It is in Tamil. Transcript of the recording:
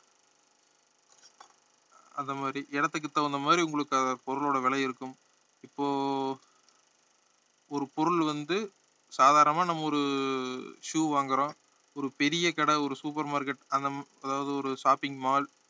அந்த மாதிரி இடத்துக்கு தகுந்த மாதிரி உங்களுக்கு பொருளோட விலை இருக்கும் இப்போ ஒரு பொருள் வந்து சாதாரணமா நம்ம ஒரு shoe வாங்குறோம் ஒரு பெரிய கடை ஒரு super market அந்த மா~ அதாவது ஒரு shopping mall